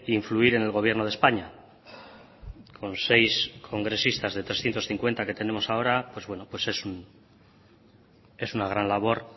influir en el gobierno de españa con seis congresistas de trescientos cincuenta que tenemos ahora pues bueno es una gran labor